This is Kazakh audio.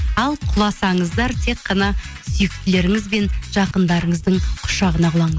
ал құласаңыздар тек қана сүйіктілеріңіз бен жақындарыңыздың құшағына